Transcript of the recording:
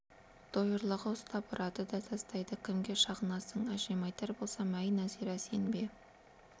дойырлығы ұстап ұрады да тастайды кімге шағынасың әжеме айтар болсам әй нәзира сен бе